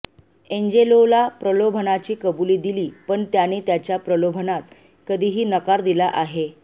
एंजेलोला प्रलोभनाची कबूली दिली पण त्याने त्याच्या प्रलोभनात कधीही नकार दिला आहे